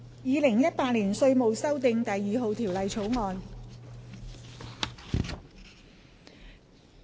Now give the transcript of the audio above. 《2018年稅務條例草案》。